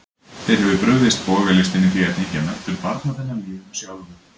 Þér hefur brugðist bogalistin í því að tengja menntun barna þinna lífinu sjálfu.